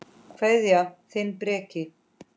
Kveðja, þinn Breki.